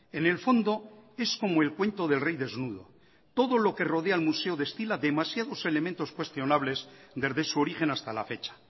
en el fondo es como el cuento del rey desnudo todo lo que rodea el museo destila demasiados elementos cuestionables desde su origen hasta la fecha